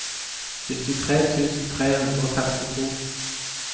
syttitre tusen tre hundre og femtito